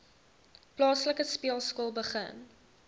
plaaslike speelskool begin